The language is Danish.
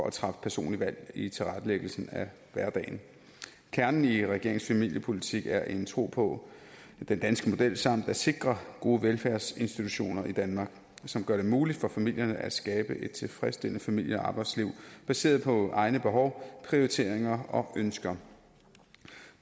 at træffe personlige valg i tilrettelæggelsen af hverdagen kernen i regeringens familiepolitik er en tro på den danske model samt at sikre gode velfærdsinstitutioner i danmark som gør det muligt for familierne at skabe et tilfredsstillende familie og arbejdsliv baseret på egne behov prioriteringer og ønsker